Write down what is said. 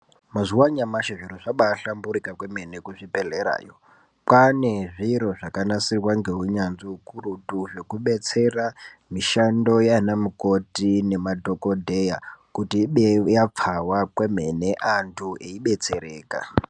Mazuva anyamashi zviro zvabaahlamburuka kwemene kuzvibhedhlerayo kwaane zviro zvakanasirwa ngeunyanzvi hukurutu zvekudetsera mishando yaana mukoti nemadhogodheya kuti idee yapfava kwemene, antu eietsereka.